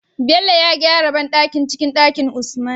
Bello ya gyara banɗakin cikin Ɗakin usman